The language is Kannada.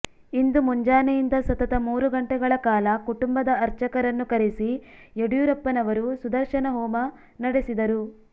ಇಂದು ಮುಂಜಾನೆಯಿಂದ ಸತತ ಮೂರು ಗಂಟೆಗಳ ಕಾಲ ಕುಟುಂಬದ ಅರ್ಚಕರನ್ನು ಕರೆಸಿ ಯಡಿಯೂರಪ್ಪನವರು ಸುದರ್ಶನ ಹೋಮ ನಡೆಸಿದರು